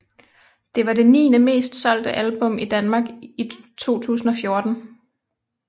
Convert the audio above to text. Det var det niende mest solgte album i Danmark i 2014